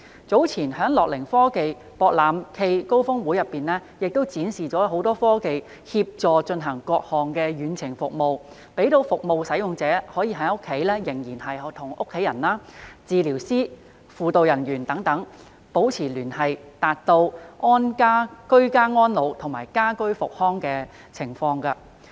早前樂齡科技博覽暨高峰會展示了多項科技，以協助進行各項遠程服務，讓服務使用者安在家中仍能與家人、治療師、輔導人員等保持聯繫，達致居家安老及家居復康的目標。